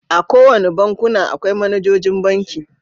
A kowane bankuna, akwai managoji banki.